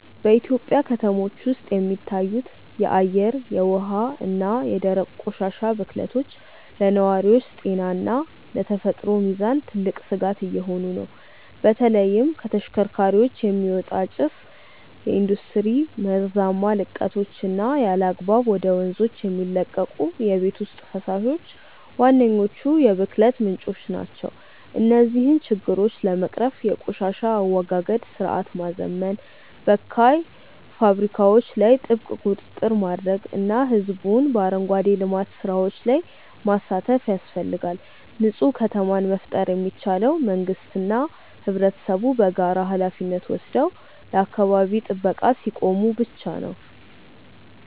በኢትዮጵያ ከተሞች ውስጥ የሚታዩት የአየር፣ የውሃ እና የደረቅ ቆሻሻ ብክለቶች ለነዋሪዎች ጤና እና ለተፈጥሮ ሚዛን ትልቅ ስጋት እየሆኑ ነው። በተለይም ከተሽከርካሪዎች የሚወጣ ጭስ፣ የኢንዱስትሪ መርዛማ ልቀቶች እና ያለአግባብ ወደ ወንዞች የሚለቀቁ የቤት ውስጥ ፈሳሾች ዋነኞቹ የብክለት ምንጮች ናቸው። እነዚህን ችግሮች ለመቅረፍ የቆሻሻ አወጋገድ ስርዓትን ማዘመን፣ በካይ ፋብሪካዎች ላይ ጥብቅ ቁጥጥር ማድረግ እና ህዝቡን በአረንጓዴ ልማት ስራዎች ላይ ማሳተፍ ያስፈልጋል። ንፁህ ከተማን መፍጠር የሚቻለው መንግስትና ህብረተሰቡ በጋራ ሃላፊነት ወስደው ለአካባቢ ጥበቃ ሲቆሙ ብቻ ነው።